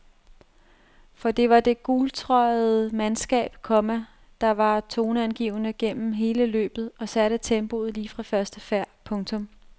For det var det gultrøjede mandskab, komma der var toneangivende gennem hele løbet og satte tempoet lige fra første færd. punktum